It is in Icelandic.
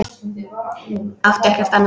Átti ekkert annað.